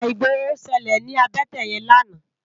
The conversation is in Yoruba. Íjà igbóró ṣëlé ni àbëtè yèn làná